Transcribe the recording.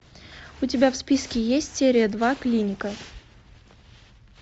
у тебя в списке есть серия два клиника